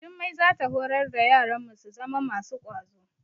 Jummai za ta horar da yaranmu su zama masu kwazo.